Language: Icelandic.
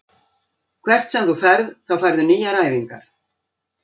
Hvert sem þú ferð þá færðu nýjar æfingar.